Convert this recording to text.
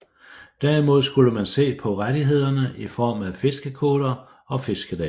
Derimod skulle man se på rettighederne i form af fiskekvoter og fiskedage